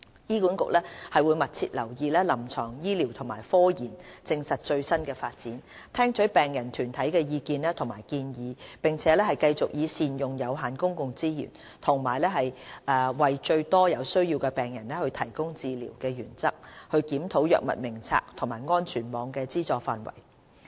醫管局會密切留意臨床醫療和科研實證的最新發展，聽取病人團體的意見和建議，並繼續以善用有限公共資源及為最多有需要的病人提供治療的原則，檢討藥物名冊和安全網的資助範圍。